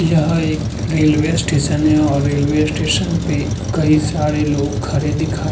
यह एक railway station है और रेलवे स्टेशन पे कई सारे लोग खड़े दिखाई --